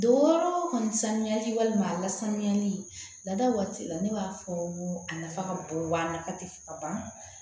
Don kɔni sanuyali walima a lasanuyali lada waati la ne b'a fɔ a nafa ka bon wa nafa tɛ fɔ ka ban